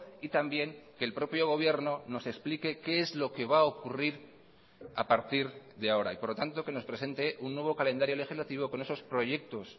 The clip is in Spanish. y también que el propio gobierno nos explique qué es lo que va a ocurrir a partir de ahora y por lo tanto que nos presente un nuevo calendario legislativo con esos proyectos